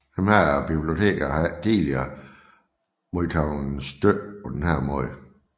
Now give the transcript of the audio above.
Disse biblioteker havde ikke tidligere modtaget støtte på denne måde